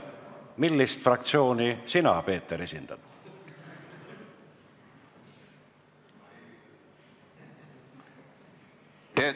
Millist fraktsiooni sina, Peeter, esindad?